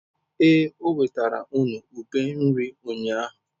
Ee, o wetara unu ube iri ụnyahụ.